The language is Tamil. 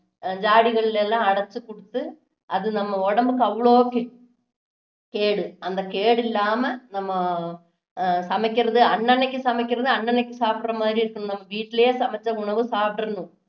ஜாடிகளில எல்லாம் அடைச்சு குடுத்து அது நம்ம உடம்புக்கு அவ்வளவு கே~ கேடு அந்த கேடு இல்லாம நம்ம அஹ் சமைக்குறது அன்ன அன்னைக்கு சமைக்குறது அன்ன அன்னைக்கு சாப்பிடுற மாதிரி இருக்கணும் நம்ம வீட்டுலேயே சமைச்ச உணவு சாப்பிட்டுறணும்